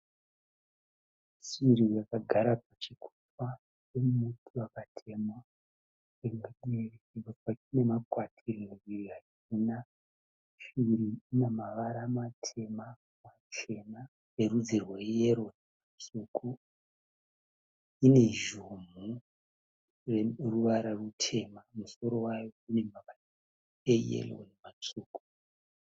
Shiri yakagara pachikomba pemuti wakatemwa. Rimwe divi rinemakwati rimwe divi harina. Shiri inemavara matema, machena erudzi rweyero, tsvuku. Inezhumhu yeruvara rutema. Musoro wayo unemavara eyero nematsvuku.